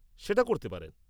-সেটা করতে পারেন।